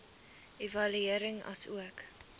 evaluering asook